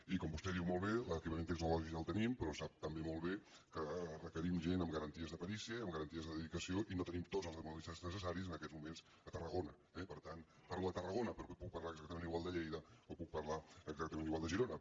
i com vostè diu molt bé l’equipament tecnològic el tenim però sap també molt bé que requerim gent amb garanties de perícia i amb garanties de dedicació i no tenim tots els hemodialistes necessaris en aquests mo·ments a tarragona eh per tant parlo de tarragona però puc parlar exactament igual de lleida o puc par·lar exactament igual de girona